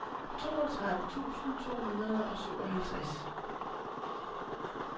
toogtredive tusind to hundrede og syvoghalvtreds